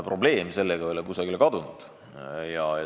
Probleem ei ole aga kusagile kadunud.